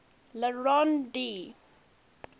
le rond d